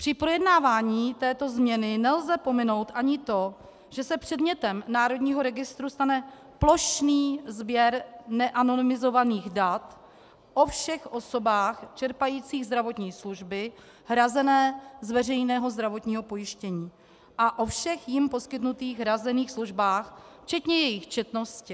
Při projednávání této změny nelze pominout ani to, že se předmětem národního registru stane plošný sběr neanonymizovaných dat o všech osobách čerpajících zdravotní služby hrazené z veřejného zdravotního pojištění a o všech jím poskytnutých hrazených službách včetně jejich četnosti.